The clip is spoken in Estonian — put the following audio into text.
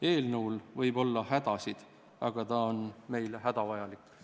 Eelnõul võib olla hädasid, aga ta on meile hädavajalik.